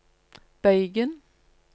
bøygen